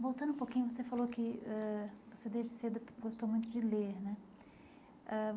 Voltando um pouquinho, você falou que ãh você desde cedo gostou muito de ler né ãh.